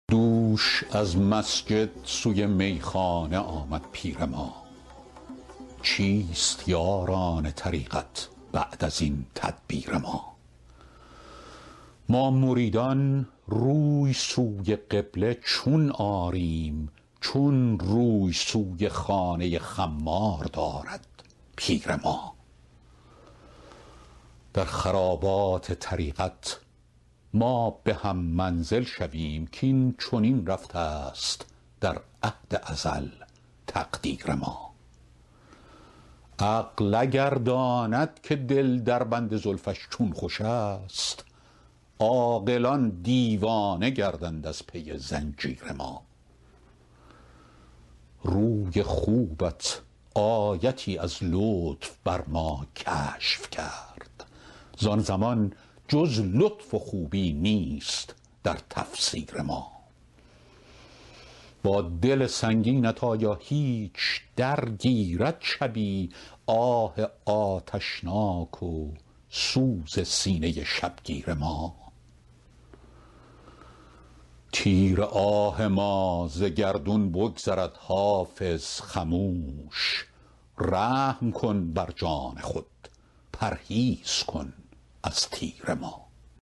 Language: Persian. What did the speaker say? دوش از مسجد سوی میخانه آمد پیر ما چیست یاران طریقت بعد از این تدبیر ما ما مریدان روی سوی قبله چون آریم چون روی سوی خانه خمار دارد پیر ما در خرابات طریقت ما به هم منزل شویم کاین چنین رفته است در عهد ازل تقدیر ما عقل اگر داند که دل در بند زلفش چون خوش است عاقلان دیوانه گردند از پی زنجیر ما روی خوبت آیتی از لطف بر ما کشف کرد زان زمان جز لطف و خوبی نیست در تفسیر ما با دل سنگینت آیا هیچ درگیرد شبی آه آتشناک و سوز سینه شبگیر ما تیر آه ما ز گردون بگذرد حافظ خموش رحم کن بر جان خود پرهیز کن از تیر ما